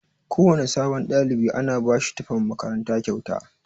Kowana sabon ɗalibi ana bashi tufan makaranta kyauta.